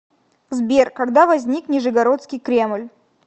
сбер когда возник нижегородский кремль